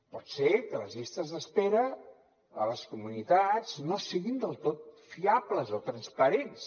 pot ser que les llistes d’espera a les comunitats no siguin del tot fiables o transparents